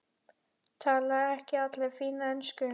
Tala ekki allir fína ensku?